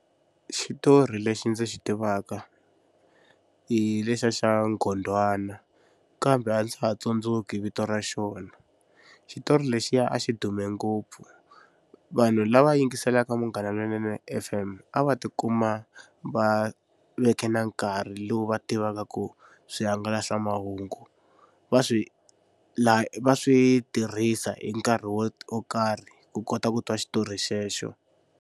Xitori lexi ndzi xi tivaka hi lexa xa Nghondwana kambe a ndza ha tsundzuki vito ra xona. Xitori lexiya a xi dume ngopfu vanhu lava yingiselaka Munghana Lonene F_M a va tikuma va veke na nkarhi lowu va tivaka ku swihangalasamahungu va swi va swi tirhisa hi nkarhi wo karhi ku kota ku twa xitori xexo.